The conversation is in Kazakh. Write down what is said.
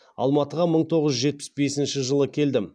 алматыға мың тоғыз жүз жетпіс бесінші жылы келдім